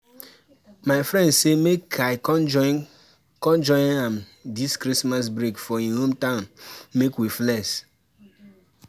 my friend say make I come join come join am dis christmas break for him hometown make we flex